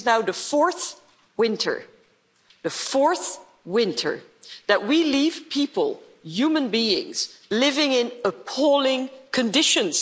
This is now the fourth winter the fourth winter that we have left people, human beings, living in appalling conditions.